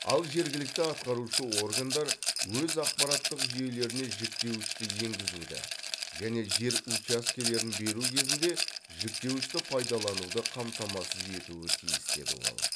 ал жергілікті атқарушы органдар өз ақпараттық жүйелеріне жіктеуішті енгізуді және жер учаскелерін беру кезінде жіктеуішті пайдалануды қамтамасыз етуі тиіс деді ол